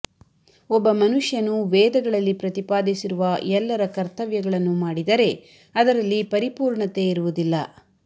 ಒಬ್ಬ ಮನುಷ್ಯನು ವೇದಗಳಲ್ಲಿ ಪ್ರತಿಪಾದಿಸಿರುವ ಎಲ್ಲರ ಕರ್ತವ್ಯಗಳನ್ನು ಮಾಡಿದರೆ ಅದರಲ್ಲಿ ಪರಿಪೂರ್ಣತೆ ಇರುವುದಿಲ್ಲ